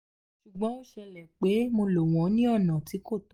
ṣugbọn o ṣẹlẹ pe mo lo wọn ni ọna ti ko tọ